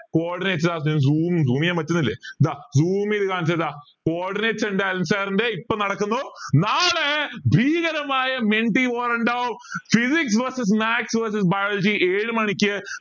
zoom zoom ചെയ്യാൻ പറ്റണില്ലേ ദാ zoom ചെയ്തു കാണിച്ചു തരാം ദാ അനിൽ sir ൻ്റെ ഇപ്പൊ നടക്കുന്നു നാളെ ഭീകരമായ war ഇണ്ടാവും physics vs maths vs biology ഏഴു മണിക്ക്